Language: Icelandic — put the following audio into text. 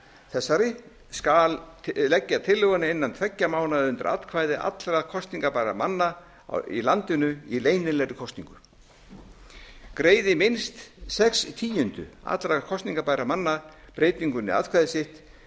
þessari skal leggja tillöguna innan tveggja mánaða undir atkvæði allra kosningarbærra manna í landinu í leynilegri kosningu greiði minnst sex tíundu allra kosningarbærra manna breytingunni atkvæði sitt